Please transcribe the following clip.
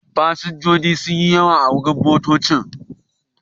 Fasinjoji sun yi yawa a wurin motoccin.